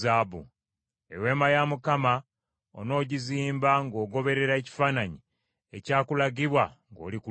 Eweema onoogizimba ng’ogoberera ekifaananyi ekyakulagibwa ng’oli ku lusozi.